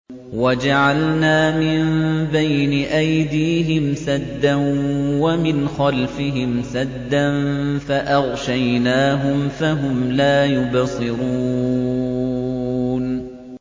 وَجَعَلْنَا مِن بَيْنِ أَيْدِيهِمْ سَدًّا وَمِنْ خَلْفِهِمْ سَدًّا فَأَغْشَيْنَاهُمْ فَهُمْ لَا يُبْصِرُونَ